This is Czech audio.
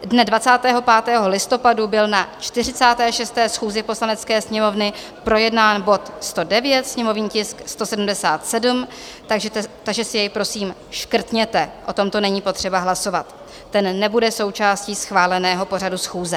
Dne 25. listopadu byl na 46. schůzi Poslanecké sněmovny projednán bod 109, sněmovní tisk 177, takže si jej prosím škrtněte, o tomto není potřeba hlasovat, ten nebude součástí schváleného pořadu schůze.